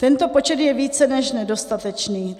Tento počet je více než nedostatečný.